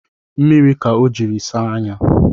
Mmiri ka o jiri saa anya